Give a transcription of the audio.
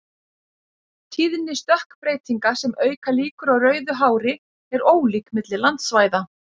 Tíðni stökkbreytinga sem auka líkur á rauðu hári er ólík milli landsvæða.